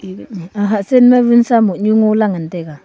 aga hat chen ma vinsa mohnu ngo lah ngan taiga.